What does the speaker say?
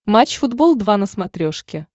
матч футбол два на смотрешке